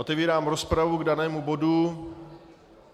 Otevírám rozpravu k danému bodu.